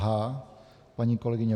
H paní kolegyně